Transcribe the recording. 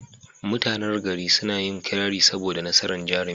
Mutanan gari suna yin kirari saboda nasarar jarumin.